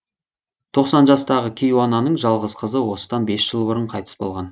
тоқсан жастағы кейуананың жалғыз қызы осыдан бес жыл бұрын қайтыс болған